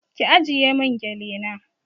Ki ajiye mun gele na